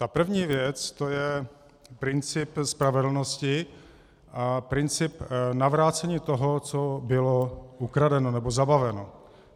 Ta první věc, to je princip spravedlnosti a princip navrácení toho, co bylo ukradeno nebo zabaveno.